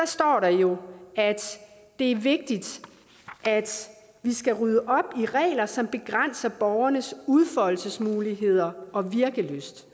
står der jo at det er vigtigt at rydde op i regler som begrænser borgernes udfoldelsesmuligheder og virkelyst